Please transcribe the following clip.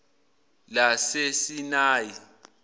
lasesinayi